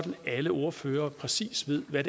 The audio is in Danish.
alle ordførere præcis ved hvad